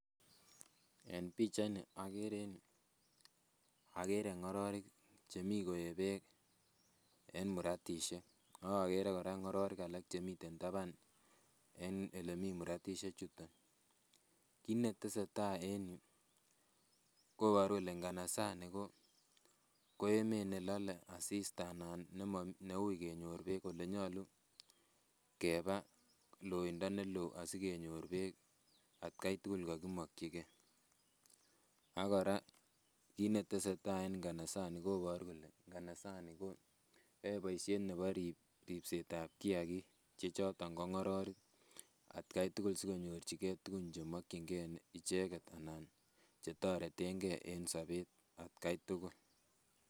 En pichait ni okere en yuu okere ng'ororik chemii koee beek en muratisiek ak okere kora ngoroik chemiten taban en elemii muratisiek chuton kit netesetai en yuu koboru kole nganasani ko emet nelole asista ana neuui kenyor beek olenyolu keba loindo neloo asikenyor beek atkai tugul kokimokyingee ak kora kit netesetai nganasok koboru kole nganasani ko yoe boisiet nebo ribset ab kiagik choton ko ng'ororik atkai tugul sikonyorchigee tugun chemokyingee icheket anan chetoretengee en sobet atkai tugul